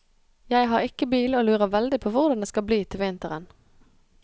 Jeg har ikke bil og lurer veldig på hvordan det skal bli til vinteren.